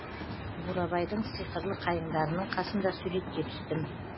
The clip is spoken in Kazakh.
бурабайдың сиқырлы қайыңдарының қасында суретке түстім